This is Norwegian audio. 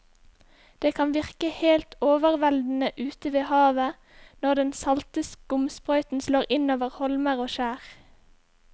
Det kan virke helt overveldende ute ved havet når den salte skumsprøyten slår innover holmer og skjær.